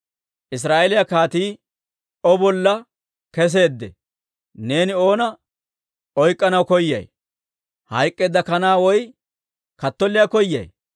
Israa'eeliyaa kaatii O bolla keseeddee? Neeni oona oyk'k'anaw koyay? Hayk'k'eedda kanaa woy kattolliyaa koyay?